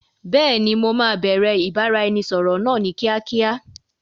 Beeni, mo máa bẹ̀rẹ̀ ìbáraẹnisọọ̀rọ̀ náà ni kíákíá.